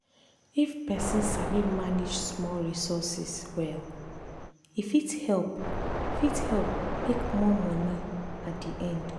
if person sabi manage small resources well e fit help fit help make more money at the end.